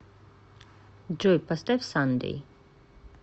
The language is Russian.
джой поставь сандэй